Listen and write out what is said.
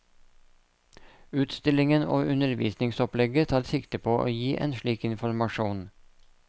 Utstillingen og undervisningsopplegget tar sikte på å gi en slik informasjon.